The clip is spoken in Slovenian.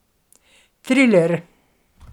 Triler.